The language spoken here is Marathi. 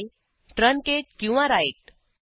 म्हणजे ट्रंकेट किंवा राइट